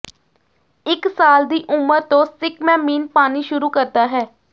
ਇਕ ਸਾਲ ਦੀ ਉਮਰ ਤੋਂ ਸਿੱਕਮੈਮੀਨ ਪਾਣੀ ਸ਼ੁਰੂ ਕਰਦਾ ਹੈ